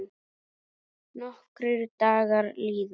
Nokkrir dagar líða.